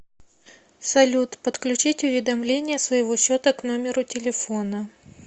салют подключить уведомления своего счета к номеру телефона